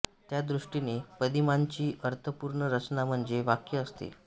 त्या दृष्टीने पदिमांची अर्थपूर्ण रचना म्हणजे वाक्य असते